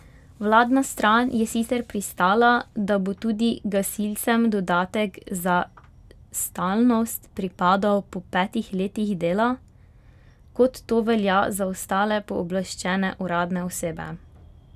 Vladna stran je sicer pristala, da bo tudi gasilcem dodatek za stalnost pripadal po petih letih dela, kot to velja za ostale pooblaščene uradne osebe.